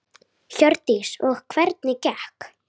Hjördís: Og hvernig gekk?